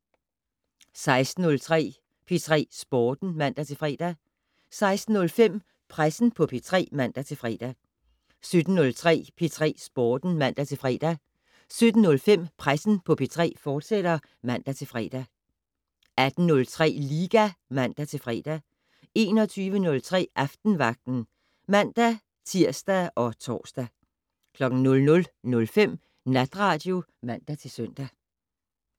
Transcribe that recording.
16:03: P3 Sporten (man-fre) 16:05: Pressen på P3 (man-fre) 17:03: P3 Sporten (man-fre) 17:05: Pressen på P3, fortsat (man-fre) 18:03: Liga (man-fre) 21:03: Aftenvagten (man-tir og tor) 00:05: Natradio (man-søn)